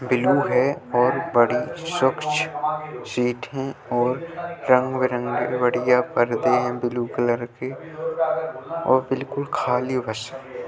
Blue है और बड़ी स्वच्छ सीट है और रंग-बिरंगे बढ़िया पर्दे है। ब्लू कलर के और बिलकुल खाली बस --